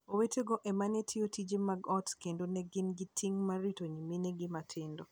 Owetego e ma ne tayo tije mag ot kendo ne gin gi ting' mar rito nyiminegi matindo.